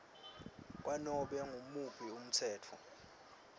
kwanobe ngumuphi umtsetfo